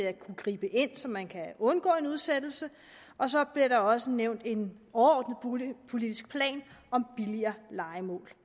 at kunne gribe ind så man kan undgå en udsættelse og så bliver der også nævnt en overordnet boligpolitisk plan om billigere lejemål